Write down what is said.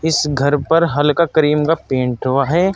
इस घर पर हल्का क्रीम का पेंट हुआ है।